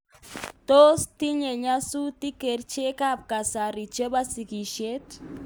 Tos tinye nyasyutik kerichek ab kasari chebo sigisyet?